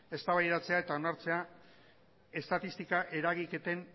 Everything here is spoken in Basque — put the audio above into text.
eztabaidatzea eta onartzea estatistika eragiketen